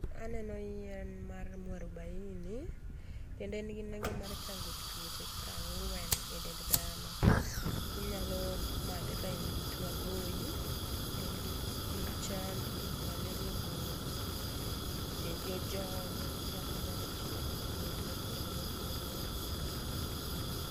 Aneno yien mar mwarobaini kendo en gi nengo mar chango tuoche prang'wen e dend dhano. Inyalo madhe ka in gi tuo agoyi, iyi chandi, malaria ogoyi, dendi ojony. En yath minyalo tiyo godo e yore ma opogore opogore